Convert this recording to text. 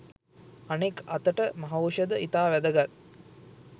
අනෙක් අතට මහෞෂධ ඉතා වැදගත්